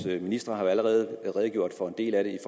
ministre har jo allerede redegjort for en del af den i